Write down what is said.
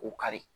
O kari